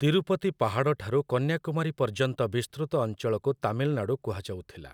ତିରୁପତି ପାହାଡ଼ଠାରୁ କନ୍ୟାକୁମାରୀ ପର୍ଯ୍ୟନ୍ତ ବିସ୍ତୃତ ଅଞ୍ଚଳକୁ ତାମିଲନାଡୁ କୁହାଯାଉଥିଲା ।